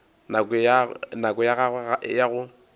nako ya gagwe ya go